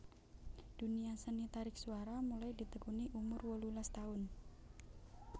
Dunia seni tarik suara mulai ditekuni umur wolulas taun